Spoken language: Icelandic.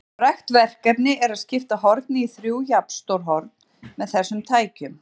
Frægt verkefni er að skipta horni í þrjú jafnstór horn með þessum tækjum.